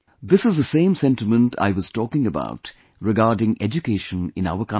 This is the same sentiment I was talking about regarding education in our country